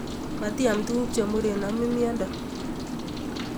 Matiam tukuk chemuren nomin miondo